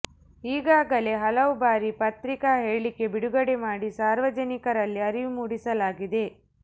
ಈಗಾಗಲೇ ಹಲವು ಬಾರಿ ಪತ್ರಿಕಾ ಹೇಳಿಕೆ ಬಿಡುಗಡೆ ಮಾಡಿ ಸಾರ್ವಜನಿಕರಲ್ಲಿ ಅರಿವು ಮೂಡಿಸಲಾಗಿದೆ